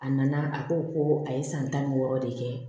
A nana a ko ko a ye san tan ni wɔɔrɔ de kɛ